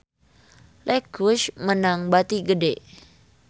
Lexus meunang bati gede